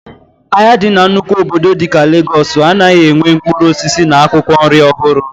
Ahịa ndị dị na nnukwu obodo dịka Legọọs anaghị enwe mkpụrụ osisi na akwụkwọ nri ọhụrụ